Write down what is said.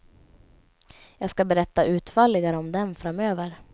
Jag skall berätta utförligare om den framöver.